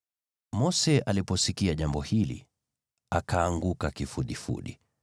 Mose aliposikia jambo hili, akaanguka kifudifudi.